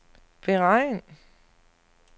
beregn